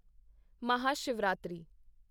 Mahashivratri